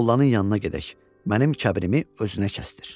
mollanın yanına gedək, mənim kəbirimi özünə kəsdir.